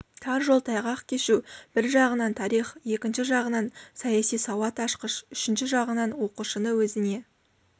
тар жол тайғақ кешу бір жағынан тарих екінші жағынан саяси сауат ашқыш үшінші жағынан оқушыны өзіне